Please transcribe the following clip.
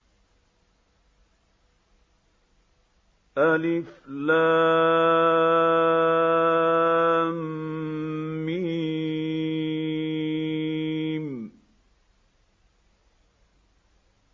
الم